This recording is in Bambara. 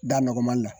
Da nɔgɔmani la